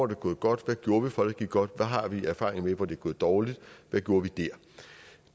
det gået godt hvad gjorde vi for at det gik godt hvad har vi af erfaringer med hvor det er gået dårligt hvad gjorde vi der